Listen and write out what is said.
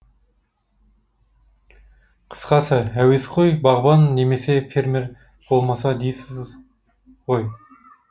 қысқасы әуесқой бағбан немесе фермер болмаса дейсіз ғой